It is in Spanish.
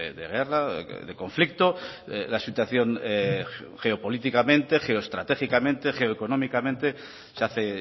de guerra de conflicto la situación geopolíticamente geoestratégicamente geoeconómicamente se hace